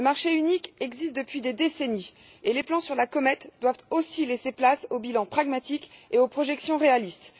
Le marché unique existe depuis des décennies et les plans tirés sur la comète doivent laisser la place aux bilans pragmatiques et aux projections réalistes.